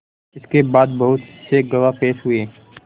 इसके बाद बहुत से गवाह पेश हुए